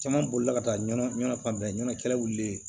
Caman bolila ka taa ɲɔn fan bɛɛ ɲanawulilen